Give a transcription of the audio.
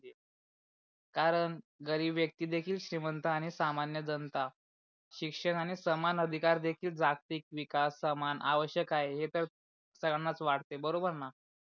कारण गरीब व्यक्ति देखील श्रीमंत आणि सामान्य जनता शिक्षणाणे समान अधिकार देखील जागतिक विकास समान आवश्यक आहे हे तर सर्वांच वाटते बरोबर णा.